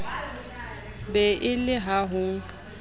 be e le ha ho